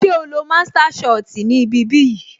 Ṣé o lọ master shot ni ibi bí yìí